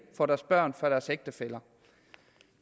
for deres børn og deres ægtefæller